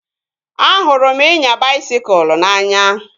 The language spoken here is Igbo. Ahụrụ m ịnya baisikụl n'anya